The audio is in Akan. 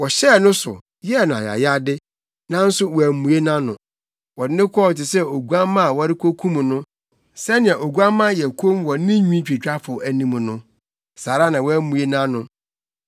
Wɔhyɛɛ no so, yɛɛ no ayayade, nanso wammue nʼano; wɔde no kɔɔ te sɛ oguamma a wɔrekokum no. Sɛnea oguamma yɛ komm wɔ ne nwitwitwafo anim no, saa ara na wammue nʼano.